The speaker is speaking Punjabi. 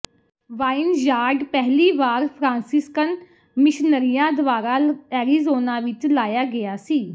ਵਾਈਨਯਾਰਡ ਪਹਿਲੀ ਵਾਰ ਫਰਾਂਸੀਸਕਨ ਮਿਸ਼ਨਰੀਆਂ ਦੁਆਰਾ ਐਰੀਜ਼ੋਨਾ ਵਿੱਚ ਲਾਇਆ ਗਿਆ ਸੀ